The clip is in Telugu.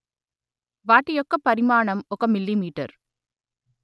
వాటి యొక్క పరిమాణం ఒక మిల్లీమీటరు